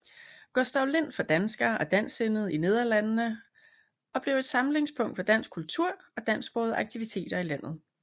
Gustav Lind for danskere og dansksindede i Nederlandene og blev et samlingspunkt for dansk kultur og dansksprogede aktiviteter i landet